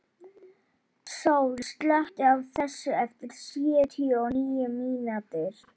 Sól, slökktu á þessu eftir sjötíu og níu mínútur.